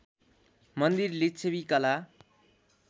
मन्दिर लिच्छवि कला